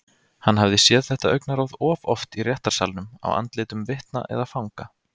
Hann hafði séð þetta augnaráð of oft í réttarsalnum á andlitum vitna eða fanga.